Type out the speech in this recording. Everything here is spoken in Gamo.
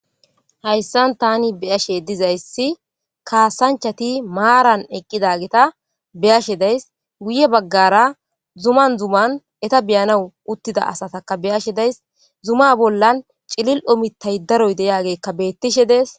Hayssan tani beyashe dizayssi kaasanchati maaran eqqidageta beyashe days guye baggara zuman zuman eta beyana uttida asataka beyashe days zuma bollan cilil'omi taydaroy deyaagekka beettishe dees